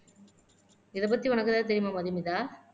இதைப்பத்தி உனக்கு ஏதாவது தெரியுமா மதுமிதா